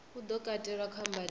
u do katelwa kha mbadelo